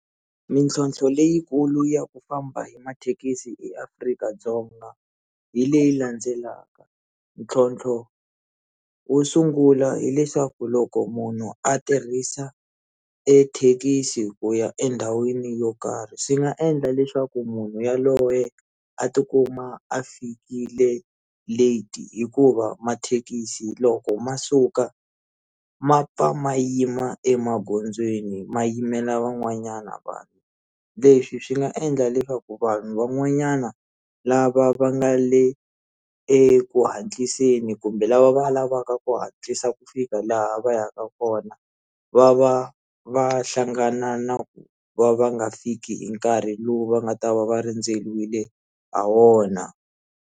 Mintlhotlho leyikulu ya ku famba hi mathekisi eAfrika-Dzonga hi leyi landzelaka ntlhontlho wo sungula hileswaku loko munhu a tirhisa ethekisi ku ya endhawini yo karhi swi nga endla leswaku munhu yaloye a tikuma a fikile light hikuva mathekisi loko ma suka ma pfa ma yima emagondzweni ma yimela van'wanyana vanhu leswi swi nga endla leswaku vanhu van'wanyana lava va nga le eku hatliseni ku kumbe lava va lavaka ku hatlisa ku fika laha va yaka kona va va va hlangana na ku va va nga fiki hi nkarhi lowu va nga ta va va rindzeriwile ha wona.